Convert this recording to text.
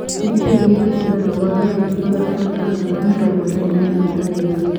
nĩ kĩĩ ngingũtingara wangayanĩa magana matano ma mĩrongo ĩrĩ na ĩmwe harĩ ĩthatũ